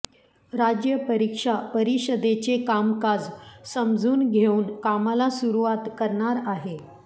राज्य परीक्षा परिषदेचे कामकाज समजून घेऊन कामाला सुरुवात करणार आहे